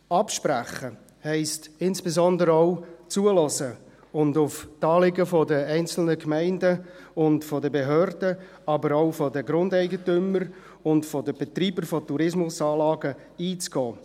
Absprechen heisst insbesondere auch zuhören und auf die Anliegen der einzelnen Gemeinden und der Behörden, aber auch der Grundeigentümer und der Betreiber von Tourismusanlagen einzugehen.